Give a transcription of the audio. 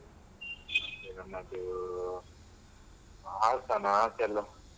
ಹಾಸನ ಆಚೆ ಎಲ್ಲ.